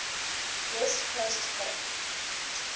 west coast hip